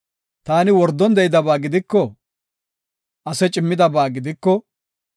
“Taani wordon de7idaba gidiko, ase cimmidaba gidiko,